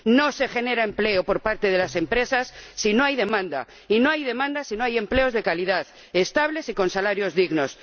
No se genera empleo por parte de las empresas si no hay demanda, y no hay demanda si no hay empleos de calidad, estables y con salarios dignos.